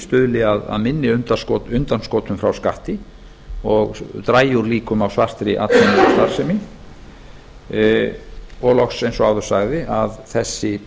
stuðli að minni undanskotum frá skatti og dragi úr líkum á svartri atvinnustarfsemi og loks eins og áður sagði að þessi